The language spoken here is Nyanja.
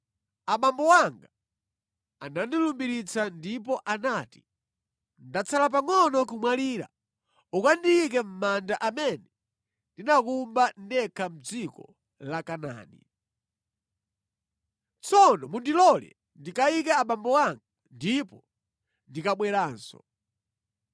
‘Abambo anga anandilumbiritsa ndipo anati, ‘Ndatsala pangʼono kumwalira, ukandiyike mʼmanda amene ndinakumba ndekha mʼdziko la Kanaani.’ Tsono mundilole ndikayike abambo anga, ndipo ndikabweranso.’ ”